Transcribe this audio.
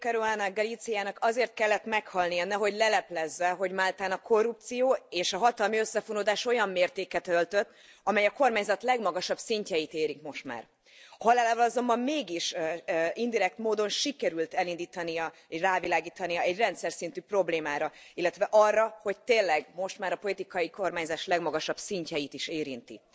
Daphne Caruana Galizianak azért kellett meghalnia, nehogy leleplezze, hogy Máltán a korrupció és a hatalmi összefonódás olyan mértéket öltött, amely a kormányzat legmagasabb szintjeit is eléri már. Halálával azonban mégis indirekt módon sikerült elindítania valamit, rávilágítani egy rendszerszintű problémára, illetve arra, hogy ez immár tényleg a politikai kormányzás legmagasabb szintjeit is érinti.